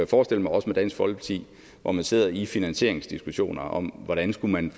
forestille mig også med dansk folkeparti hvor man sidder i finansieringsdiskussioner om hvordan man